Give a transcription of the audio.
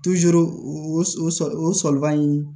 o sɔliba in